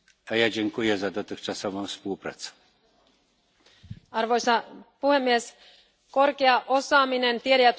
Arvoisa puhemies, korkea osaaminen, tiede ja tutkimus on edellytys Euroopan menestykselle myös tulevaisuudessa.